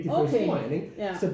Okay ja